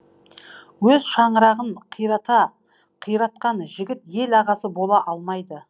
өз шаңырағын қиратқан жігіт ел ағасы бола алмайды